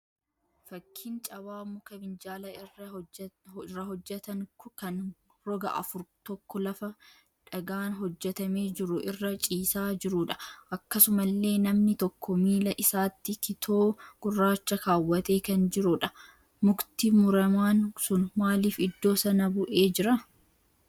Fakkiin cabaa muka minjaala irra hojjetan kan roga afur tokko lafa dhagaan hojjetamee jiru irra ciisaa jiruudha. Akkasumallee namni tokko miila isaatti kitoo gurraacha kaawwatee kan jiruudha. Mukti muramaan sun maaliif iddoo sana bu'ee jira?